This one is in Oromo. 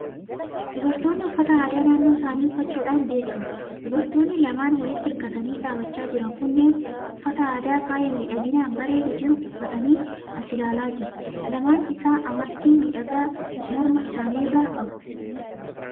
Dubartoonni uffata aadaa naannoo isaanii uffachuudhaan beekamu. Dubartoonni lamaan walitti hirkatanii dhaabachaa jiran kunneen uffata aadaa faaya miidhaginaan bareedee jiru uffatanii as ilaalaa jiru. Lamaan isaa amartii miidhagaa morma isaanii irraa qabu.